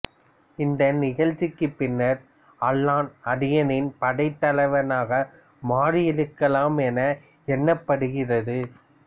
இந்த நிகழ்ச்சிக்குப் பின்னர் அள்ளன் அதியனின் படைத்தலைவனாக மாறியிருக்கலாம் என எண்ணப்படுகிறது